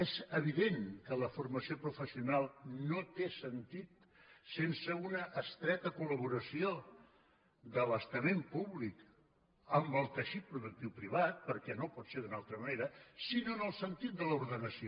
és evident que la formació professional no té sentit sense una estreta col·laboració de l’estament públic amb el teixit produc·tiu privat perquè no pot ser d’una altra manera sinó en el sentit de l’ordenació